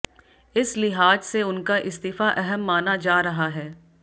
इस लिहाज से उनका इस्तीफा अहम माना जा रहा है